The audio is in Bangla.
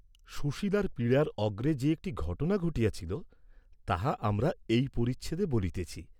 সুশীলার পীড়ার অগ্রে যে একটি ঘটনা ঘটিয়াছিল, তাহা আমরা এই পরিচ্ছেদে বলিতেছি।